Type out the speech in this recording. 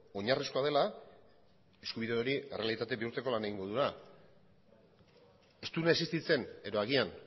oinarrizkoa dela eskubide hori errealitate bihurtzeko lan egingo dugula ez duena existitzen edo agian